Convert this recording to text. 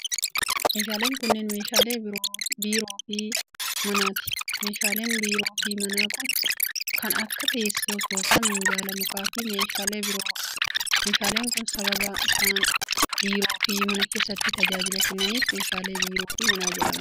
Meeshaaleen kunneen meeshaalee biiroo fi manaati. Meeshaaleen biiroo fi manaa kun kan akka teessoo soofaa, minjaala mukaa fi meeshaalee biroo dha. Meeshaaleen kun sababa isaan biiroo fi mana keessattis tajaajila kennaniif meeshaalee biiroo fi manaa jedhaman.